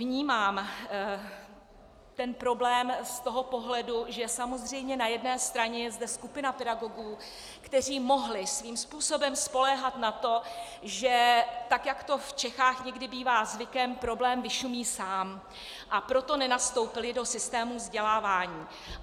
Vnímám ten problém z toho pohledu, že samozřejmě na jedné straně je zde skupina pedagogů, kteří mohli svým způsobem spoléhat na to, že tak jak to v Čechách někdy bývá zvykem, problém vyšumí sám, a proto nenastoupili do systému vzdělávání.